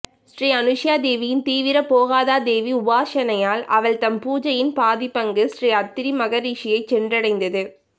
ஸ்ரீ அனுசூயா தேவியின் தீவிர போகதா தேவி உபாசனையால் அவள்தம் பூஜையின் பாதிபங்கு ஸ்ரீ அத்திரி மகரிஷியைச் சென்றடைந்தது